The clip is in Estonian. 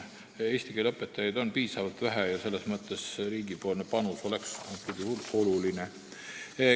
Eesti keele õpetajaid on vähe ja riigi panus oleks praegusel juhul oluline.